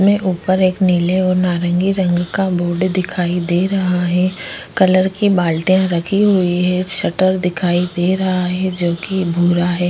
में ऊपर एक नीले और नारंगी रंग का बोर्ड दिखाई दे रहा है। कलर की बाल्टियाँ रखी हुई हैं। शटर दिखाई दे रहा है जो कि भूरा है।